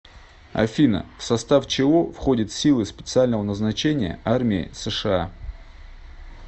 афина в состав чего входит силы специального назначения армии сша